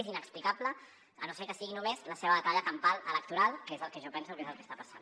és inexplicable si no és que és només la seva batalla campal electoral que és el que jo penso que és el que està passant